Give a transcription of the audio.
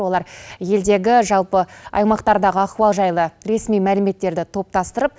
олар елдегі жалпы аймақтардағы ахуал жайлы ресми мәліметтерді топтастырып